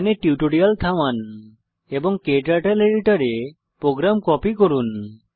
এখানে টিউটোরিয়াল থামান এবং ক্টার্টল এডিটর এ প্রোগ্রাম কপি করুন